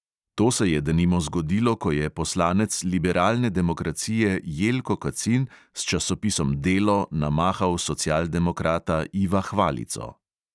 To se je denimo zgodilo, ko je poslanec liberalne demokracije jelko kacin s časopisom delo namahal socialdemokrata iva hvalico.